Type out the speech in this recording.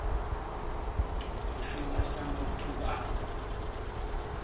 u shuma sa muthu a